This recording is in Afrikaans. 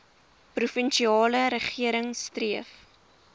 provinsiale regering streef